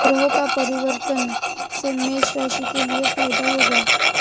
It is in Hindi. ग्रहों का परिवर्तन से मेष राशि के लिए फायदा होगा